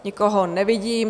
Nikoho nevidím.